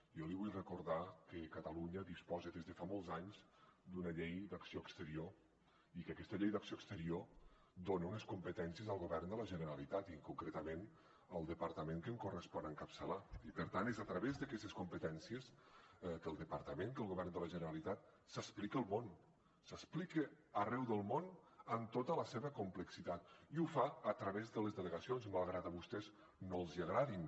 jo li vull recordar que catalunya disposa des de fa molts anys d’una llei d’acció exterior i que aquesta llei d’acció exterior dona unes competències al govern de la generalitat i concretament al departament que em correspon encapçalar i per tant és a través d’aquestes competències que el departament que el govern de la generalitat s’explica al món s’explica arreu del món en tota la seva complexitat i ho fa a través de les delegacions malgrat que a vostès no els agradin